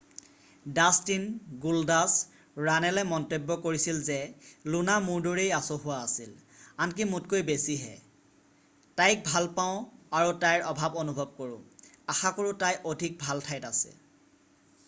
"Dustin "Goldust" ৰাণেলে মন্তব্য কৰিছিল যে "লুনা মোৰ দৰেই আচহুৱ আছিল... আনকি মোতকৈ বেছিহে... তাইক ভাল পাওঁ আৰু তাইৰ অভাৱ অনুভৱ কৰোঁ...আশাকৰোঁ তাই অধিক ভাল ঠাইত আছে "।""